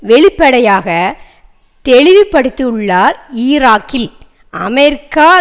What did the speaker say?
வெளிப்படையாக தெளிவுபடுத்தியுள்ளார் ஈராக்கில் அமெரிக்கா